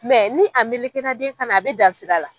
ni a melekera den kan na a bɛ dan sira la.